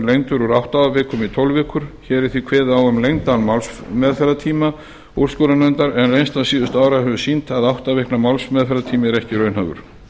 úr átta vikum í tólf vikur hér er því kveðið á um lengdan málsmeðferðartíma úrskurðarnefndar en reynsla síðustu ára hefur sýnt að átta vikna málsmeðferðartími er ekki raunhæfur